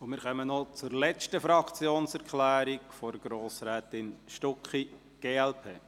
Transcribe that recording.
Wir kommen noch zur letzten Fraktionserklärung, jene von Grossrätin Stucki, glp.